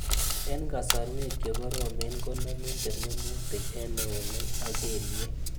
Eng' kasarwek che koromen konamin termemutik eng' eunek ak kelye